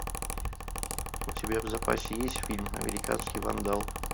у тебя в запасе есть фильм американский вандал